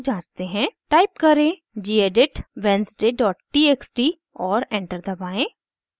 type करें: gedit wednesday dot txt और enter दबाएं